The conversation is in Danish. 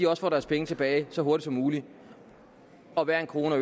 også får deres penge tilbage så hurtigt som muligt og hver en krone